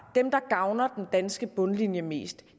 dem der gavner den danske bundlinje mest